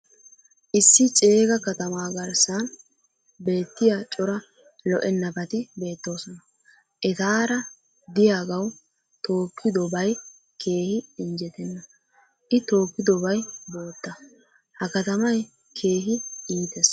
issi ceegga katamaa garssan beettiya cora lo''ennabati beettoosona. etaara diyagawu tookidobay keehi injjetenna. i tookkidobay bootta. ha katamay keehi iitees.